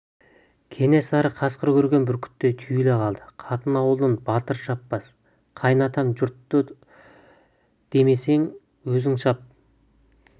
кенесары қасқыр көрген бүркіттей түйіле қалды қатын ауылын батыр шаппас қайын атам жұрты демесең өзің шап